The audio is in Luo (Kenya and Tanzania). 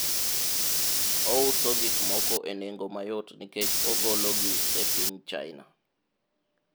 ouso gikmoko e nengo mayot nikech ogoli gi e piny China